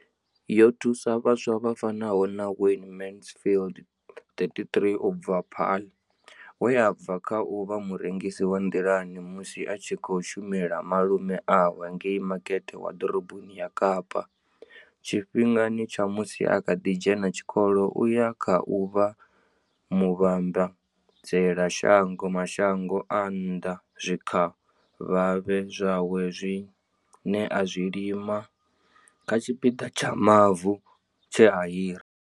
Yo thusa vhaswa vha fanaho na Wayne Mansfield, 33 u bva Paarl, we a bva kha u vha murengisi wa nḓilani musi a tshi khou shumela malume awe ngei Makete wa ḓoroboni ya Kapa tshifhingani tsha musi a kha ḓi dzhena tshikolo u ya kha u vha muvhambadzela mashango a nnḓa zwikavhavhe zwawe zwine a zwi lima kha tshipiḓa tsha mavu tshe a hira.